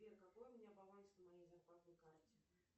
сбер какой у меня баланс на моей зарплатной карте